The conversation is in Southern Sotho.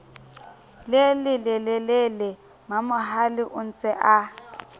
le lelelele mamohale ontse a